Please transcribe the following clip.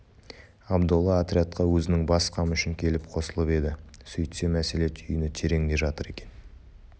абдолла отрядқа өзінің бас қамы үшін келіп қосылып еді сөйтсе мәселе түйіні тереңде жатыр екен